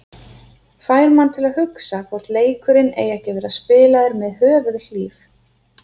Fær mann til að hugsa hvort leikurinn eigi ekki að vera spilaður með höfuðhlíf.